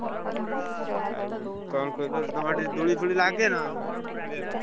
ଆଉ କଣ କହିଲ ଯେ ତମର ସେଠି ଦୋଳି ଫୋଳି ଲାଗେନା ଖେଳିଆକୁ?